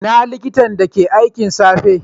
Ina likitan da ke aikin safe?